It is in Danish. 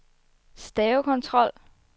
stavekontrol